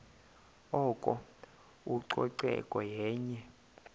oko ucoceko yenye